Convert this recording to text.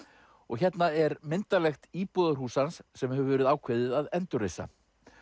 og hérna er myndarlegt íbúðarhús hans sem hefur verið ákveðið að endurreisa